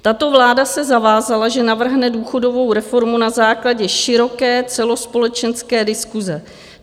Tato vláda se zavázala, že navrhne důchodovou reformu na základě široké celospolečenské diskuse.